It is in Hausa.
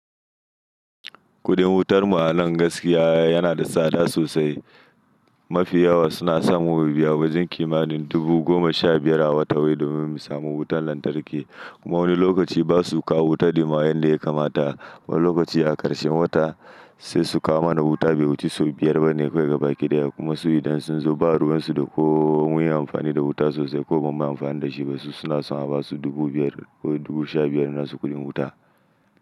Kudin wutar mu a nan gaskiya yana da tsada sosai. Mafi yawa suna sa mu mu biya wajen kimanin dubu goma sha biyar a wata wai domin mu samu wutar lantarki. Kuma wani lokaci ba su kawo wutan ma yadda ya kamata. Wani lokaci a karshen wata sai su kawo mana wuta bai wuce sau biyar ba ne kawai gaba ɗaya kuma su idan sun zo ba ruwan su da ko mun yi amfani da wuta sosai ko bamu yi amfani da shi ba su suna son a basu dubu biyar ko dubu sha biyar nasu kuɗin wuta.